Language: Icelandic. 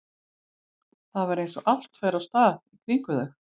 Það var eins og allt færi af stað í kringum þau.